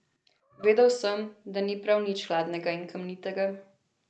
Vedel sem, da ni prav nič hladna in kamnita.